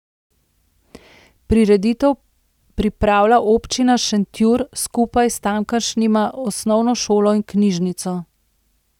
Prireditev pripravlja občina Šentjur skupaj s tamkajšnjima osnovno šolo in knjižnico.